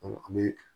an bɛ